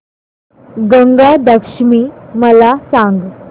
गंगा दशमी मला सांग